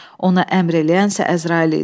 Ona əmr eləyənsə Əzrail idi.